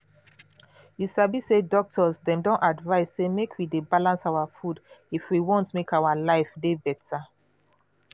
you sabi say doctors dem don advise say make we dey balance our food if we want make our life dey beta.